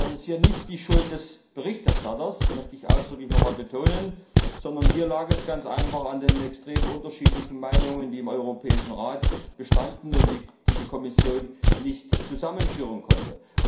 Das ist nicht die Schuld des Berichterstatters das möchte ich ausdrücklich betonen sondern dies lag ganz einfach an den extrem unterschiedlichen Meinungen, die im Europäischen Rat bestanden und die die Kommission nicht zusammenführen konnte.